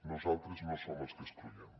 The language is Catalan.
nosaltres no som els que excloem